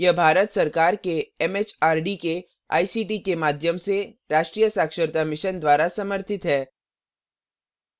यह भारत सरकार के एमएचआरडी के आईसीटी के माध्यम से राष्ट्रीय साक्षरता mission द्वारा समर्थित है